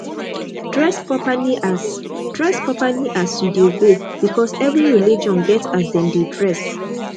dress properly as dress properly as you de go because every religion get as dem de dress